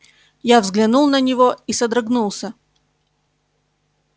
я взглянул на него и содрогнулся